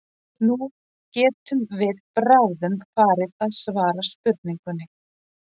Nú getum við bráðum farið að svara spurningunni.